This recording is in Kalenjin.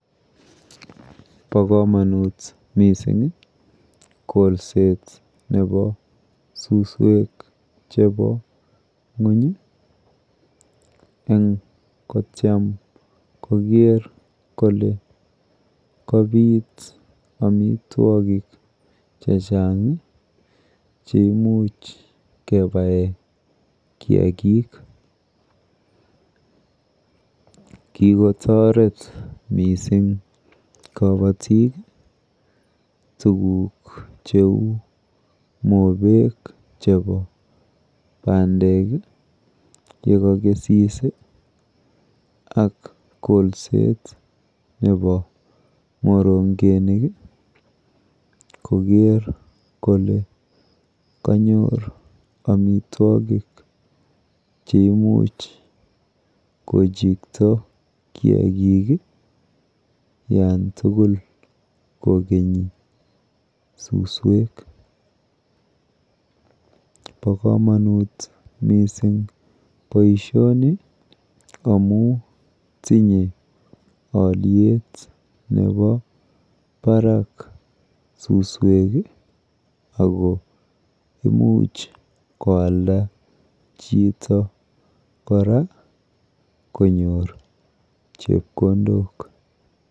Po komonut mising kolseta nepo suswek chepo ng'uny eng kotyem kole kapit amitwokik chechang cheimuch kepae kiakik. Kikotoret mising kabatik tuguk cheu mopek chepo bandek yekakesis ak kolset nepo morongenik koker kole kanyor amitwokik cheimuch kokikta kiakik olantugul kokenyi suswek. Po komonut mising boishoni amu tinye alyet nepo barak suswek ako imuch koalda chito kora konyor chepkondok.